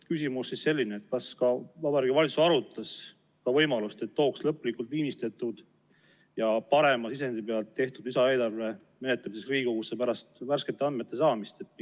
Küsimus on selline: kas Vabariigi Valitsus arutas ka võimalust, et tooks Riigikogusse menetlemiseks lõplikult viimistletud ja parema sisendi pealt tehtud lisaeelarve, mis on koostatud pärast värskete andmete saamist?